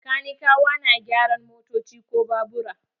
Kanikawa na gyaran motoci ko babura.